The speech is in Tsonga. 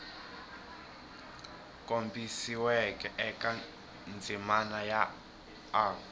kombisiweke eka ndzimana ya a